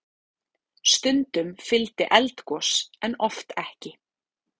Stundum fylgdi eldgos en oft ekki.